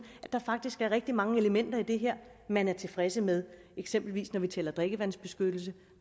at der faktisk er rigtig mange elementer i det her man er tilfreds med eksempelvis når vi taler om drikkevandsbeskyttelse